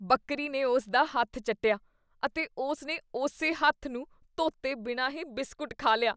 ਬੱਕਰੀ ਨੇ ਉਸ ਦਾ ਹੱਥ ਚੱਟਿਆ, ਅਤੇ ਉਸ ਨੇ ਉਸੇ ਹੱਥ ਨੂੰ ਧੋਤੇ ਬਿਨਾਂ ਹੀ ਬਿਸਕੁਟ ਖਾ ਲਿਆ।